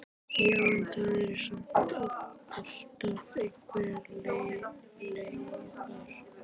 Já, en það eru samt alltaf einhverjar leifar.